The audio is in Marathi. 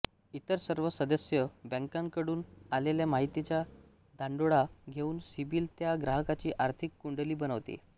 इतर सर्व सदस्य बँकाकडून आलेल्या माहितीचा धांडोळा घेऊन सिबिल त्या ग्राहकाची आर्थिक कुंडली बनवते